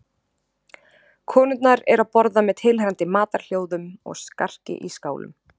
Konurnar eru að borða með tilheyrandi matarhljóðum og skarki í skálum.